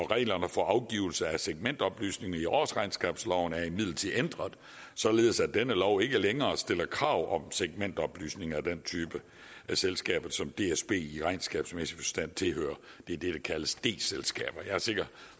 reglerne for afgivelse af segmentoplysninger i årsregnskabsloven er imidlertid ændret således at denne lov ikke længere stiller krav om segmentoplysninger af den type selskaber som dsb i regnskabsmæssige forstand tilhører det er det der kaldes d selskaber jeg er sikker